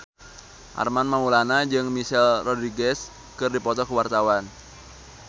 Armand Maulana jeung Michelle Rodriguez keur dipoto ku wartawan